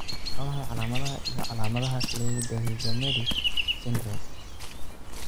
Waa maxay calaamadaha iyo calaamadaha Cleidorhizomelic syndrome?